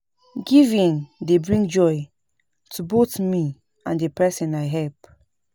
Giving dey bring joy to both me and the person I help.